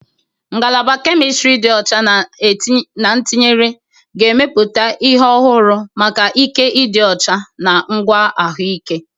Ngalaba Kemistiri dị ọcha na etinyere ga-emepụta ihe ọhụrụ maka ike dị ọcha na ngwa ahụike.